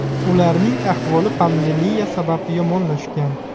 Ularning ahvoli pandemiya sabab yomonlashgan.